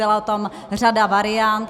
Byla tam řada variant.